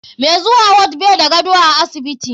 Mai zuwa ward bai da gado a asibiti.